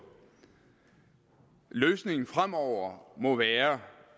løsningen fremover må være